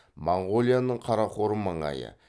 моңғолияның қарақорым маңайы